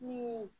Ni